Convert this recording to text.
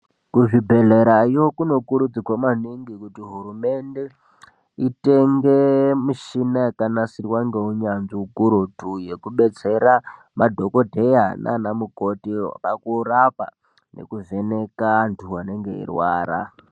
Kuzvibhedhlerayo kunokurudzirwa maningi kuti hurumende itenge mushina zvakanasirwa ngeunyanzvi ukurutu yekubetsera madhokodheya nana mukoti pakurapa nekuvheneka antu anenge eirwara.